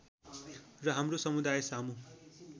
र हाम्रो समुदायसामु